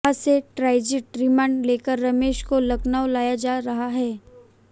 वहां से transit remand लेकर रमेश को लखनऊ लाया जा रहा है